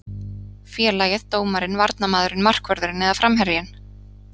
Félagið, dómarinn, varnarmaðurinn, markvörðurinn eða framherjinn?